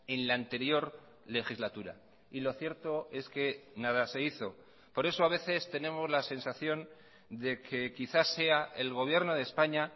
en la anterior legislatura y lo cierto es que nada se hizo por eso a veces tenemos la sensación de que quizás sea el gobierno de españa